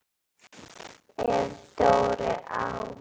Ef Dóri á